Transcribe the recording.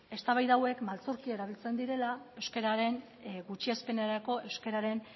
eztabaida hauek maltzurki erabiltzen direla euskararen gutxiespenerako euskararen